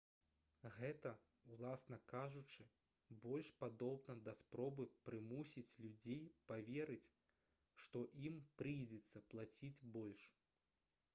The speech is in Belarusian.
гэта уласна кажучы больш падобна да спробы прымусіць людзей паверыць што ім прыйдзецца плаціць больш